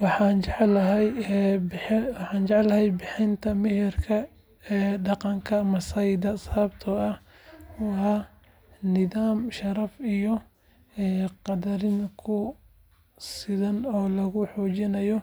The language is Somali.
Waxaan jeclahay bixinta meherka dhaqanka Maasaida sababtoo ah waa nidaam sharaf iyo qadarin ku dhisan oo lagu xoojinayo